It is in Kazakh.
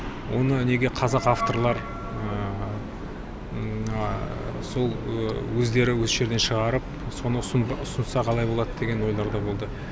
оны неге қазақ авторлар сол өздері осы жерден шығарып соны ұсынса қалай болады деген ойлар да болды